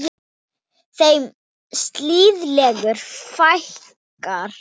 Þeim siðlegu fækkar.